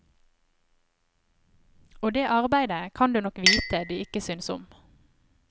Og det arbeidet kan du nok vite de ikke synes om.